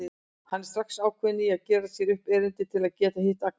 Hann er strax ákveðinn í að gera sér upp erindi til að geta hitt Agnesi.